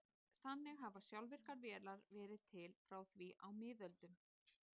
Þannig hafa sjálfvirkar vélar verið til frá því á miðöldum.